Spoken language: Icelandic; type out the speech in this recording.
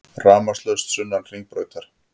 Rafmagnslaust sunnan Hringbrautar